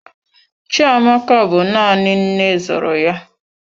Chiamaka bụ nanị nne zụrụ ya.